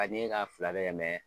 a ɲɛ ka fila bɛɛ kɛ